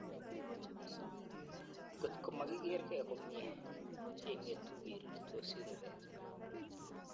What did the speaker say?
Ngot ko makikeergei komie, keng'etu kerirtosi rubeet.